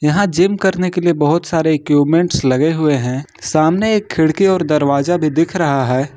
यहां जिम करने के लिए बहुत सारे इक्विपमेंट लगे हुए हैं सामने एक खिड़की और दरवाजा भी दिख रहा है।